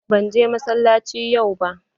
Ban je masalaci yau ba.